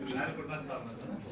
Burdan çıxacaq.